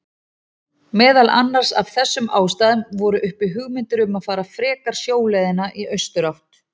Meðal annars af þessum ástæðum voru uppi hugmyndir um að fara frekar sjóleiðina í austurátt.